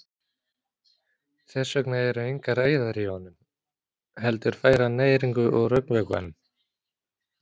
Þess vegna eru engar æðar í honum heldur fær hann næringu úr augnvökvanum.